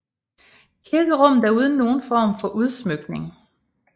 Kirkerummet er uden nogen form for udsmykning